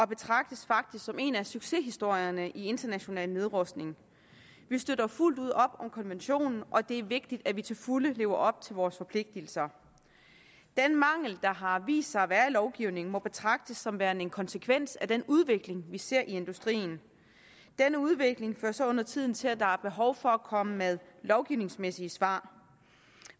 betragtes som en af succeshistorierne i international nedrustning vi støtter fuldt ud op om konventionen og det er vigtigt at vi til fulde lever op til vores forpligtelser den mangel der har vist sig at være i lovgivningen må betragtes som værende en konsekvens af den udvikling vi ser i industrien denne udvikling fører så undertiden til at der er behov for at komme med lovgivningsmæssige svar